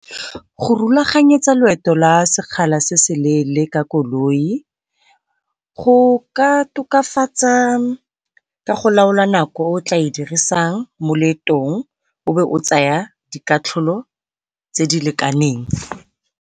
Go rulaganyetsa loeto la sekgala se se leele ka koloi go ka tokafatsa ka go laola nako e o tla e dirisang mo leetong o be o tsaya dikatlholo tse di lekaneng.